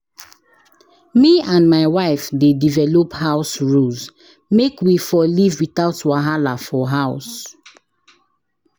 Me and my wife dey develop house rules make we for live without wahala for house.